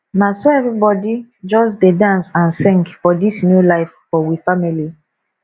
na so everybodi just dey dance and sing for dis new life for we family